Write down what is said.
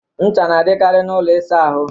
Ncha na adịkari n'ụlọ ịsa ahụ